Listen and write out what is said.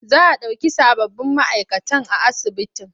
Za a ɗauki sababbin ma'aikatan a asibitin.